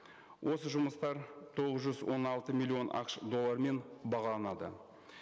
осы жұмыстар тоғыз жүз он алты миллион ақш доллармен бағаланады